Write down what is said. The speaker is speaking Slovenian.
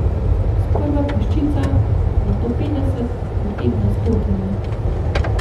Sprva peščica, nato petdeset, potem na stotine.